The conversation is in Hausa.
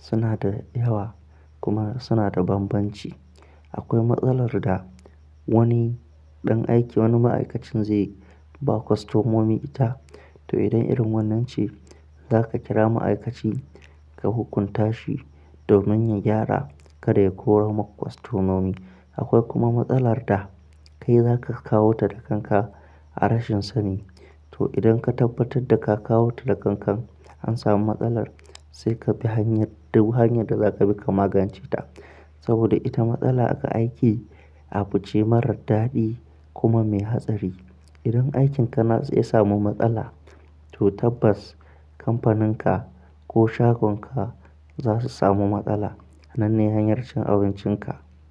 suna da yawa kuma suna da bambanci. Akwai matsalar da wani ɗan aiki wani ma'aikacin zai ba customomi ita. To idan irin wannan ce, zaka kira ma'aikaci ka hukunta shi domin ya gyara kada ya kore ma kustomomi. Akwai kuma matsalar da kai zaka kawo ta da kanka a rashin sani. To idan ka tabbatar da ka kawo ta da kankan an samu matsalar, sai ka bi hanyar, duk hanyar da za ka bi ka magance ta. Saboda ita matsala aka aiki a fice marar daɗi kuma mai hatsari. Idan aikinka na zai samu matsala, to tabbas kamfaninka ko shagonka za su samu matsala. Hannun ne hanyar cin abincinka.